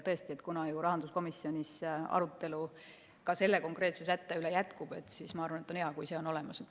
Tõesti, kuna ka rahanduskomisjonis arutelu selle konkreetse sätte üle jätkub, siis ma arvan, et on hea, kui see on olemas.